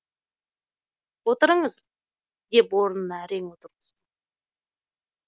отырыңыз деп орынына әрең отырғыздым